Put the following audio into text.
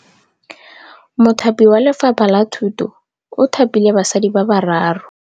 Mothapi wa Lefapha la Thutô o thapile basadi ba ba raro.